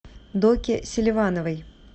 доке селивановой